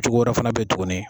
Cogo wɛrɛ fana bɛ ye tugunni.